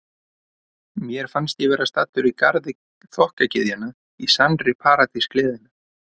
Mér fannst ég vera staddur í garði þokkagyðjanna, í sannri paradís gleðinnar.